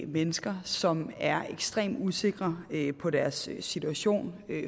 mennesker som er ekstremt usikre på deres situation og